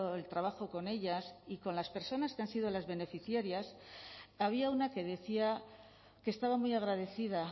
el trabajo con ellas y con las personas que han sido las beneficiarias había una que decía que estaba muy agradecida